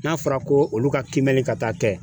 N'a fɔra ko olu ka kiimɛli ka taa tɛ